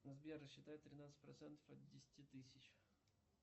сбер рассчитай тринадцать процентов от десяти тысяч